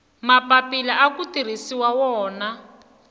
mapapila aku tirhisiwa wona